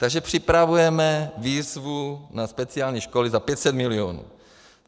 Takže připravujeme výzvu na speciální školy za 500 milionů.